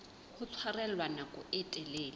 ho tshwarella nako e telele